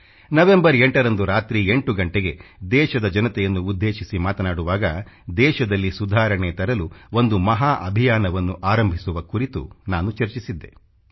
November 8ರಂದು ರಾತ್ರಿ 8 ಗಂಟೆಗೆ ದೇಶದ ಜನತೆಯನ್ನು ಉದ್ದೇಶಿಸಿ ಮಾತನಾಡುವಾಗ ದೇಶದಲ್ಲಿ ಸುಧಾರಣೆ ತರಲು ಒಂದು ಮಹಾ ಅಭಿಯಾನವನ್ನು ಆರಂಭಿಸುವ ಕುರಿತು ನಾನು ಚರ್ಚಿಸಿದ್ದೆ